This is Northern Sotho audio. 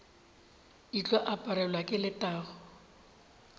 di tlo aparelwa ke letago